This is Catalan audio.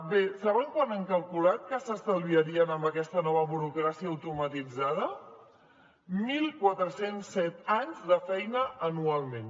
bé saben quan hem calculat que s’estalviarien amb aquesta nova burocràcia automatitzada mil quatre cents set anys de feina anualment